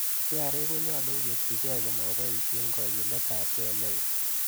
KRA konyolu koketyige komoboishien kogiletab gee neo.